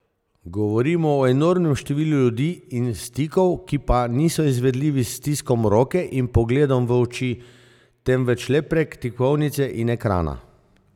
Govorimo o enormnem številu ljudi in stikov, ki pa niso izvedljivi s stiskom roke in pogledom v oči, temveč le prek tipkovnice in ekrana.